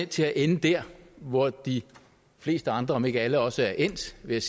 til at ende der hvor de fleste andre om ikke alle også er endt vil